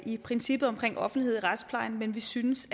i princippet om offentlighed i retsplejen men vi synes